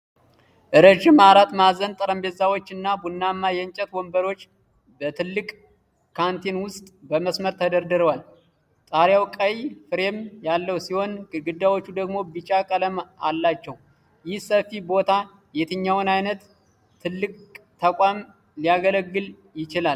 ረዥም አራት ማዕዘን ጠረጴዛዎች እና ቡናማ የእንጨት ወንበሮች በትልቅ ካንቲን ውስጥ በመስመር ተደርድረዋል። ጣሪያው ቀይ ፍሬም ያለው ሲሆን ግድግዳዎቹ ደግሞ ቢጫ ቀለም አላቸው። ይህ ሰፊ ቦታ የትኛውን አይነት ትልቅ ተቋም ሊያገለግል ይችላል?